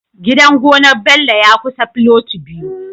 Gidan gonar Bello ya kusa filoti biyu